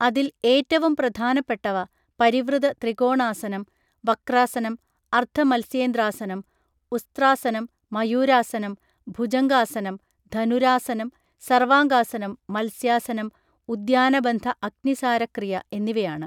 അതിൽ ഏറ്റവും പ്രധാനപ്പെട്ടവ പരിവൃത ത്രികോണാസനം വക്രാസനം അർത്ഥ മത്സ്യേന്ദ്രാസനം ഉസ്ത്രാസനം മയൂരാസനം ഭൂജംഗാസനം ധനുരാസനം സർവാംഗാസനം മത്സ്യാസനം ഉദ്യാനബന്ധ അഗ്നിസാരക്രിയ എന്നിവയാണ്